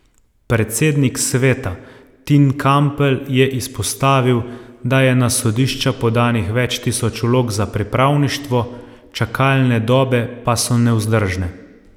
Predsednik sveta Tin Kampl je izpostavil, da je na sodišča podanih več tisoč vlog za pripravništvo, čakalne dobe pa so nevzdržne.